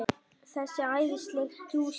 Þessi æðislega djúsí!